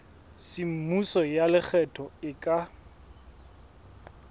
semmuso ya lekgetho e ka